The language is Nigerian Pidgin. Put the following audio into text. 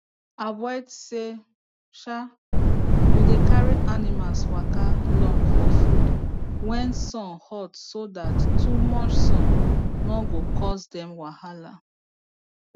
avoid sey um u dey carry animals waka long for food wen sun hot so dat too much son no go cause dem wahala